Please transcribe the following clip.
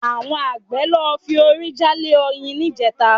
Àwọn àgbẹ̀ lọ fi orí jálé oyin níjẹta